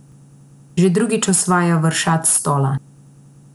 Že drugič osvaja vršac stola.